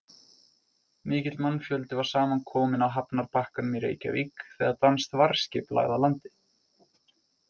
Mikill mannfjöldi var saman kominn á hafnarbakkanum í Reykjavík þegar danskt varðskip lagði að landi.